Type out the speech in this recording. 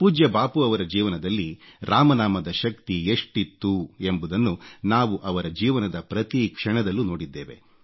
ಪೂಜ್ಯ ಬಾಪೂರವರ ಜೀವನದಲ್ಲಿ ರಾಮನಾಮದ ಶಕ್ತಿ ಎಷ್ಟಿತ್ತು ಎಂಬುದನ್ನು ನಾವು ಅವರ ಜೀವನದ ಪ್ರತಿಕ್ಷಣದಲ್ಲೂ ನೋಡಿದ್ದೇವೆ